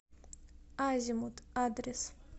азимут адрес